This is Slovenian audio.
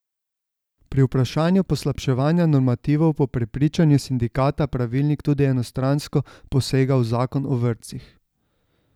Pri vprašanju poslabševanja normativov po prepričanju sindikata pravilnik tudi enostransko posega v zakon o vrtcih.